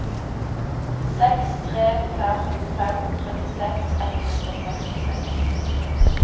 seks tre fem fem trettiseks ett hundre og sekstiseks